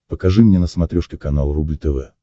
покажи мне на смотрешке канал рубль тв